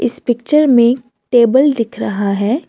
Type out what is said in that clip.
इस पिक्चर में टेबल दिख रहा है।